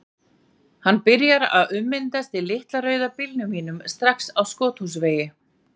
Hann byrjar að ummyndast í litla rauða bílnum mínum, strax á Skothúsvegi.